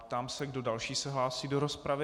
Ptám se, kdo další se hlásí do rozpravy.